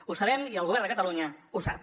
ho sabem i el govern de catalunya ho sap